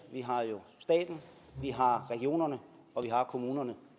vi har jo staten vi har regionerne og vi har kommunerne